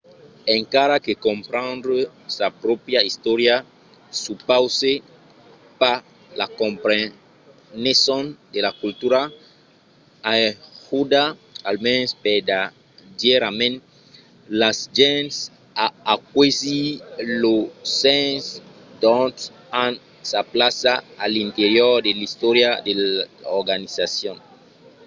encara que comprendre sa pròpria istòria supause pas la compreneson de la cultura ajuda almens vertadièrament las gents a aquesir lo sens d’ont an sa plaça a l’interior de l’istòria de l’organizacion